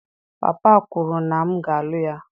Papa kwuru na m ga-alụ ya.